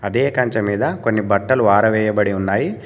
అదే కంచె మీద కొన్ని బట్టలు ఆరవేయబడి ఉన్నాయి.